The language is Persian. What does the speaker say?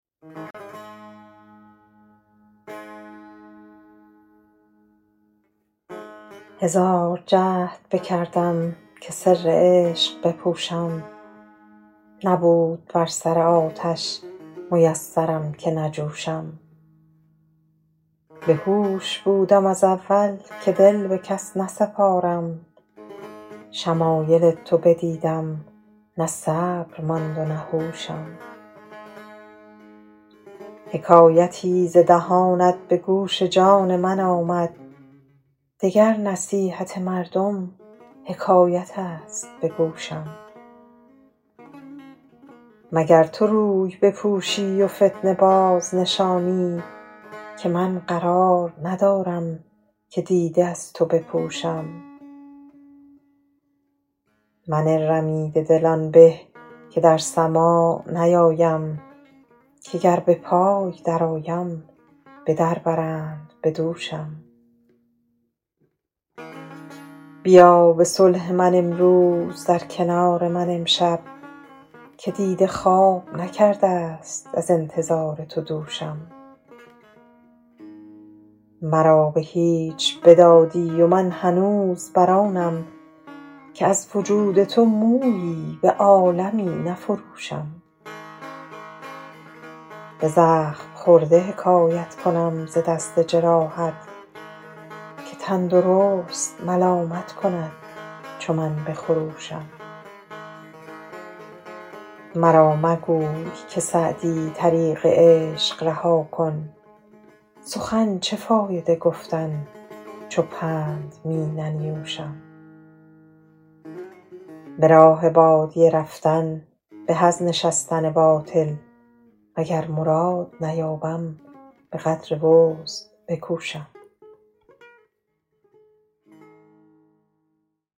هزار جهد بکردم که سر عشق بپوشم نبود بر سر آتش میسرم که نجوشم بهوش بودم از اول که دل به کس نسپارم شمایل تو بدیدم نه صبر ماند و نه هوشم حکایتی ز دهانت به گوش جان من آمد دگر نصیحت مردم حکایت است به گوشم مگر تو روی بپوشی و فتنه بازنشانی که من قرار ندارم که دیده از تو بپوشم من رمیده دل آن به که در سماع نیایم که گر به پای درآیم به در برند به دوشم بیا به صلح من امروز در کنار من امشب که دیده خواب نکرده ست از انتظار تو دوشم مرا به هیچ بدادی و من هنوز بر آنم که از وجود تو مویی به عالمی نفروشم به زخم خورده حکایت کنم ز دست جراحت که تندرست ملامت کند چو من بخروشم مرا مگوی که سعدی طریق عشق رها کن سخن چه فایده گفتن چو پند می ننیوشم به راه بادیه رفتن به از نشستن باطل وگر مراد نیابم به قدر وسع بکوشم